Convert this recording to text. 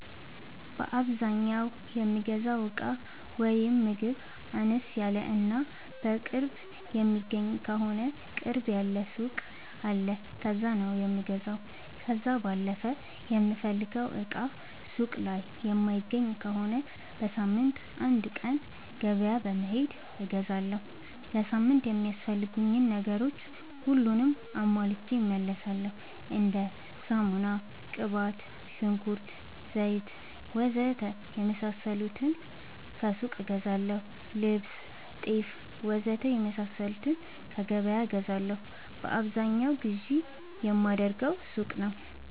በአዛኛው የምገዛው እቃ ወይም ምግብ አነስ ያለ እና ቅርብ የሚገኝ ከሆነ ቅርብ ያለ ሱቅ አለ ከዛ ነው የምገዛው። ከዛ ባለፈ የምፈልገውን እቃ ሱቅ ላይ የማይገኝ ከሆነ በሳምንት አንድ ቀን ገበያ በመሄድ እገዛለሁ። ለሳምንት የሚያስፈልጉኝ ነገሮች ሁሉንም አሟልቼ እመለሣለሁ። እንደ ሳሙና፣ ቅባት፣ ሽንኩርት፣ ዘይት,,,,,,,,, ወዘተ የመሣሠሉትን ከሱቅ እገዛለሁ። ልብስ፣ ጤፍ,,,,,,,,, ወዘተ የመሣሠሉትን ከገበያ እገዛለሁ። በአብዛኛው ግዢ የማደርገው ሱቅ ነው።